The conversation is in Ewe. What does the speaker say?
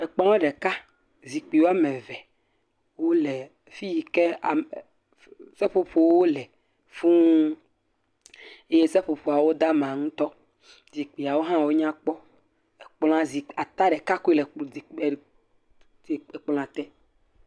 Ekplɔ ɖeka, zikpui woame eve wole fiyi ke ame, seƒoƒowo le fuu eye seƒoƒoa wo da ama ŋutɔ. Zikpuiawo hã nyakpɔ. Kpla zikpui ata ɖeka koe le, kplɔa , zikpui ekplɔ te.